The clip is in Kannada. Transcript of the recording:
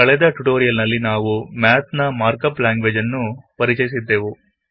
ಕಳೆದ ಟ್ಯುಟೊರಿಯಲ್ ನಲ್ಲಿ ನಾವು ಮ್ಯಾತ್ ನ ಮಾರ್ಕಪ್ ಲಾಂಗ್ವೇಜ್ ಅನ್ನು ಪರಿಚಯಿಸಿದ್ದೆವು